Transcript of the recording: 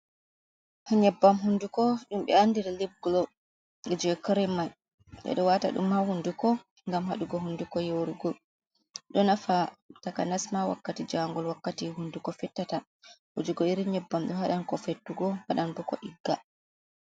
Nyebbam hunduko dumbe andiri liv glo. Be ɗo wata dum ha hunduko gam hadugo hunduko nyorogo. Ɗo nafa takanasma wakkati jaangol. wakkati hunduko fettata. Wujugo irin nyebbam be hadan ko fettugo waɗɗan bo ko ɗigga.